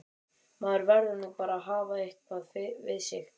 Maður verður nú að hafa eitthvað við sig!